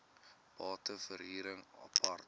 bate verhuring apart